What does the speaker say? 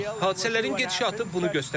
Hadisələrin gedişatı bunu göstərəcək.